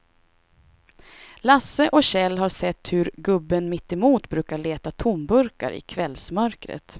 Lasse och Kjell har sett hur gubben mittemot brukar leta tomburkar i kvällsmörkret.